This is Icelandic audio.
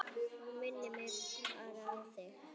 Það minnir mig á þig.